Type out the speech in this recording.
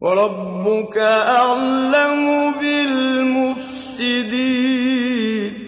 وَرَبُّكَ أَعْلَمُ بِالْمُفْسِدِينَ